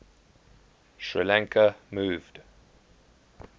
sri lanka moved